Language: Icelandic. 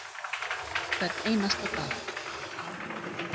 Hvern einasta dag.